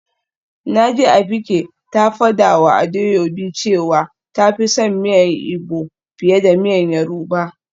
Naji Abike ta fadawa Adaobi cewa ta fi son miyan igbo fiye da miyan yoruba.